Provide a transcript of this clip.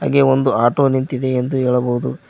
ಗೇ ಒಂದು ಆಟೋ ನಿಂತಿದೆ ಎಂದು ಹೇಳಬಹುದು.